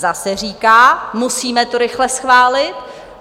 Zase říká: Musíme to rychle schválit.